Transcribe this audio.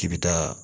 K'i bi taa